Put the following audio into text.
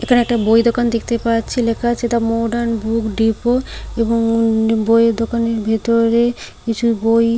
এখানে একটা বই দোকান দেখতে পাচ্ছি লেখা আছে দা মডার্ন বুক ডিপো এবং বইয়ের দোকানের ভেতরে কিছু বই ।